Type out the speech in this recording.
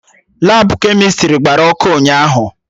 Labụ kemịstrị gbara ọkụ ụnyaahụ